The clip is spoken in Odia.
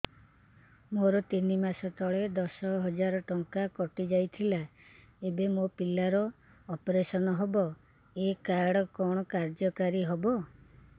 ମୋର ତିନି ମାସ ତଳେ ଦଶ ହଜାର ଟଙ୍କା କଟି ଯାଇଥିଲା ଏବେ ମୋ ପିଲା ର ଅପେରସନ ହବ ଏ କାର୍ଡ କଣ କାର୍ଯ୍ୟ କାରି ହବ